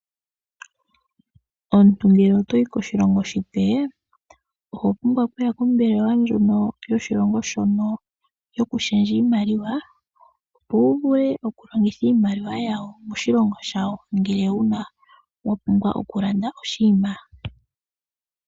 Omuntu ngele otoyi koshilongo oshipe oho pumbwa okuya kombelewa ndjono yoshilongo shono yokushendja iimaliwa opo wu vule oku longitha iimaliwa yawo moshilongo shawo uuna wa pumbwa okulanda iinima yontumba.